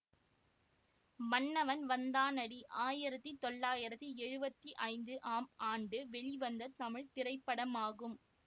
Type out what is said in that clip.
மன்னவன் வந்தானடி ஆயிரத்தி தொள்ளாயிரத்தி எழுவத்தி ஐந்து ஆம் ஆண்டு வெளிவந்த தமிழ் திரைப்படமாகும்